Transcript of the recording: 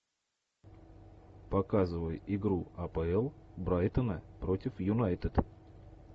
показывай игру апл брайтона против юнайтед